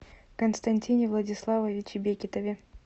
константине владиславовиче бекетове